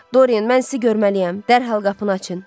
Doryan, mən sizi görməliyəm, dərhal qapını açın.